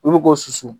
Olu k'o susu